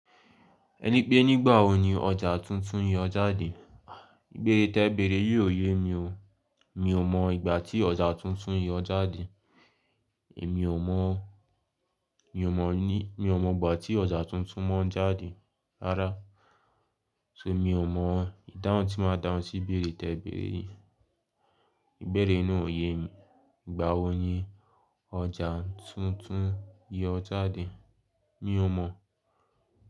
Ẹni pé nígbà wo ni ọjà tuntun yọ jáde? Ìbéèrè tẹ bẹ̀rẹ̀ yìí ò ye mi o. Mi ò mọ ìgbà tí ọjà tuntun yọ jáde. Èmi ò mọ, mi ò mọ ní, mi ò mọ ìgbà tí ọjà tuntun máa ń jáde rárá. So mi ò mọ ìdáhùn tí màá dáhùn sí ìbéèrè tẹ bẹ̀rẹ̀ yìí. Ìbéèrè náà ò ye mi. Ìgbà wò ní ọjà tuntun yọ jáde? Mi ò mọ̀.